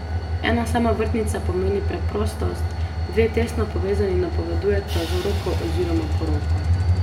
Ena sama vrtnica pomeni preprostost, dve tesno povezani napovedujeta zaroko oziroma poroko.